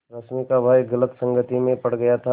रश्मि का भाई गलत संगति में पड़ गया था